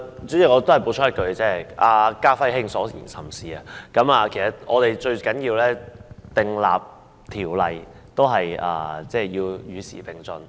主席，我想補充一句，"家輝兄"所言甚是，我們在訂立條例時，最重要是與時並進。